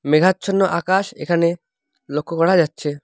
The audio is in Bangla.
মেঘাচ্ছন্ন আকাশ এখানে লক্ষ করা যাচ্ছে।